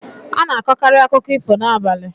A na-akọkarị akụkọ ifo n'abalị.